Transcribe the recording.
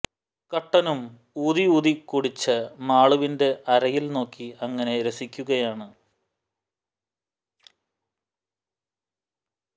കട്ടനും ഊതി ഊതി കുടിച് മാളുവിന്റെ അരയിൽ നോക്കി അങ്ങനെ രസിക്കുകയാണ്